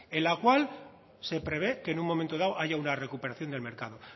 en la cual se prevé que en un momento dado haya una recuperación del mercado